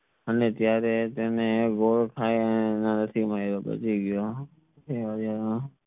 અને ત્યારે તેને